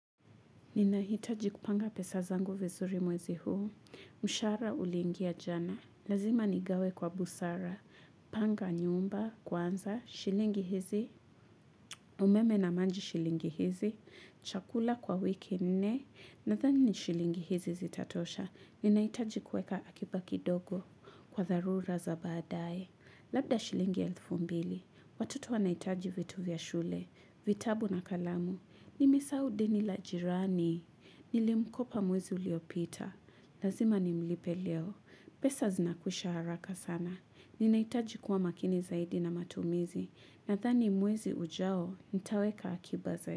Ninahitaji kupanga pesa zangu vizuri mwezi huu, mshahara ulingia jana, lazima nigawe kwa busara, panga nyumba, kwanza, shilingi hizi, umeme na maji shilingi hizi, chakula kwa wiki nne, nadhani ni shilingi hizi zitatosha, ninahitaji kuweka akiba kindogo kwa tharura za badaye. Labda shilingi elfu mbili, watoto wanahitaji vitu vya shule, vitabu na kalamu, nimesahau deni la jirani, nilimkopa mwezi uliopita, lazima ni mlipe leo, pesa zinakwisha haraka sana, ninahitaji kuwa makini zaidi na matumizi, nadhani mwezi ujao, nitaweka akiba zaidi.